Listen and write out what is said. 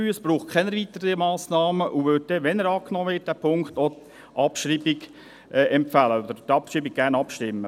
Es braucht keine weiteren Massnahmen, und wir würden dann auch, wenn der Punkt 3 angenommen wird, die Abschreibung empfehlen und über die Abschreibung gerne abstimmen.